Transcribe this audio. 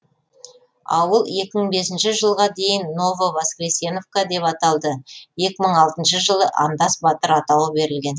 ауыл екі мың бесінші жылға дейін ново воскресеновка деп аталды екі мың алтыншы жылы андас батыр атауы берілген